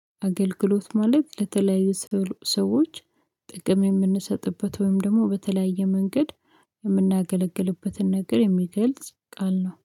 አገልግሎት ማለት ለተለያዩ ሰዎች ጥቅም የምንሰጥበት ወይም ደግሞ በተለያየ መንገድ የምናገለግልበትን ነገር የሚገልጽ ቃል ነው